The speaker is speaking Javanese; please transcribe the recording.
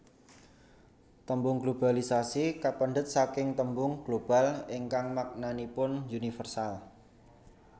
Tembung globalisasi kapendhet saking tembung global ingkang maknanipun universal